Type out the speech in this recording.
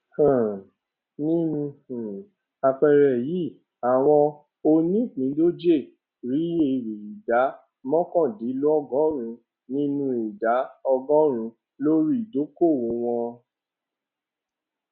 um nínú um àpẹẹrẹ yìí àwọn onípindòjé rí èrè ìdá mọkàndínlọgórùnún nínú ìdá ọgórùnún lórí ìdókòwò wọn